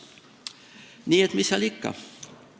Nii et mis seal ikka.